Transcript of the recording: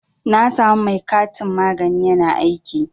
Na samu mai kantin magani ƴana aiki.